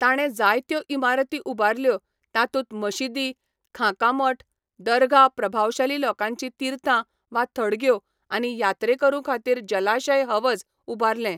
ताणें जायत्यो इमारती उबारल्यो, तातूंत मशिदी, खांका मठ, दरगाह प्रभावशाली लोकांचीं तीर्थां वा थडग्यो आनी यात्रेकरुंखातीर जलाशय हवज उबारले.